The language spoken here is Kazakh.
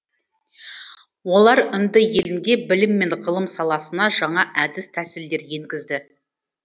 олар үнді елінде білім мен ғылым саласына жаңа әдіс тәсілдер енгізді